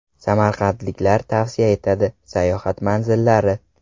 Samarqandliklar tavsiya etadi: Sayohat manzillari.